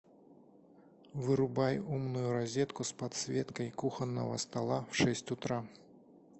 вырубай умную розетку с подсветкой кухонного стола в шесть утра